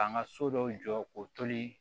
K'an ka so dɔw jɔ k'o toli